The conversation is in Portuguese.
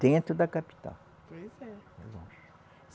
Dentro da capital. Pois é. É longe.